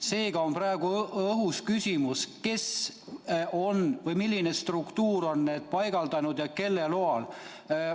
Seega on praegu õhus küsimus, kes või milline struktuur on need tõkked paigaldanud ja kelle loal.